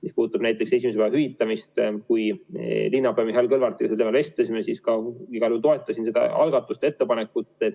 Mis puudutab esimese päeva hüvitamist, siis kui me linnapea Mihhail Kõlvartiga sel teemal vestlesime, siis ma loomulikult toetasin seda algatust, ettepanekut.